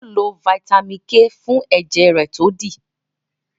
yóò lo Vitamin k fún ẹjẹ rẹ jẹ dídì